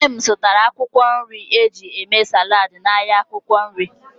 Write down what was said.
Nne m zụtara akwụkwọ nri ọ ga-eji mee saladị n'ahịa akwụkwọ nri.